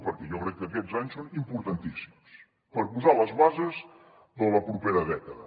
perquè jo crec que aquests anys són importantíssims per posar les bases de la propera dècada